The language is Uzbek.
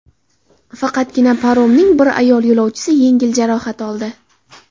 Faqatgina paromning bir ayol yo‘lovchisi yengil jarohat oldi.